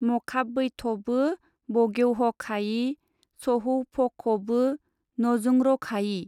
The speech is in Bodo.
मखाबबैथबो बगेवहखायि सहौफखबो नजोंरखायि?